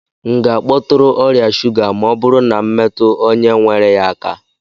M ga-akpọtụrụ ọrịa shuga ma ọ bụrụ na m metụrụ onye nwere ya aka?